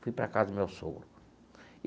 Fui para casa do meu sogro.